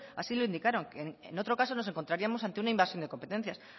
así lo indicaron en otro caso nos encontraríamos ante una invasión de competencias